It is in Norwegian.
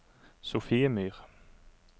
Sofiemyr